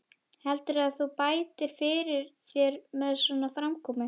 Heldurðu að þú bætir fyrir þér með svona framkomu?